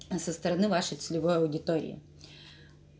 ээ со стороны вашей целевой аудитории